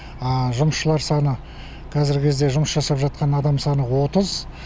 жұмысшылар саны қазіргі кезде жұмыс жасап жатқан адам саны отыз